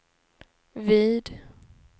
vid